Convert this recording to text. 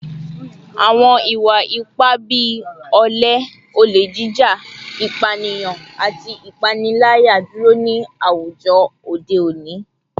Awọn iwa-ipa bii ole, ole jija, ipaniyan, ati ipanilaya duro ni awujọ ode oni